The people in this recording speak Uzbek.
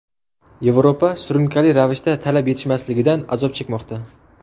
Yevropa surunkali ravishda talab yetishmasligidan azob chekmoqda.